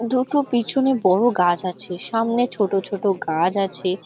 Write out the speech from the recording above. দুটো পিছনে বড় গাছ আছে সামনে ছোট ছোট গাছ আছে।